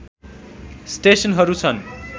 स्टेसनहरू छन्